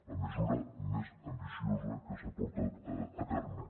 la mesura més ambiciosa que s’ha portat a terme